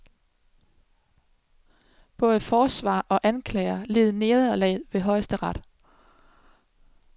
Både forsvarer og anklager led nederlag ved højesteret.